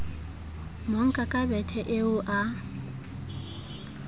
monka ka bethe eo a